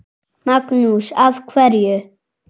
Magnús: Af hverju?